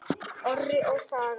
Orri og Saga.